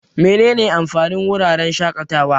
Menene amfanin wuraren shaƙatawa?